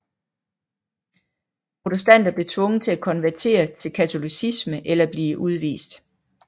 Protestanter blev tvunget til at konvertere til katolicisme eller blive udvist